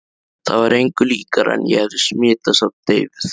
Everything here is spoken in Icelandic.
Það var engu líkara en ég hefði smitast af deyfð